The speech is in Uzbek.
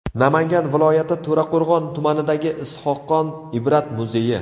Namangan viloyati To‘raqo‘rg‘on tumanidagi Is’hoqxon Ibrat muzeyi.